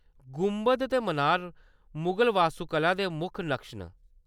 गुंबद ते मनार मुगल वास्तुकला दे प्रमुख नकश न।